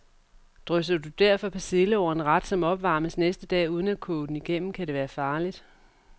Drysser du derfor persille over en ret, som opvarmes næste dag, uden at koge den igennem, kan det være farligt.